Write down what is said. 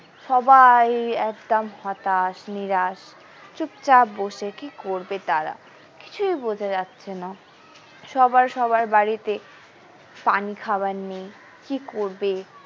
সবাই একদম হতাশ নিরাশ চুপচাপ বসে কি করবে তারা কিছুই বোঝা যাচ্ছেনা সবাই সবার বাড়িতে পানি খাবার নেই কি করবে।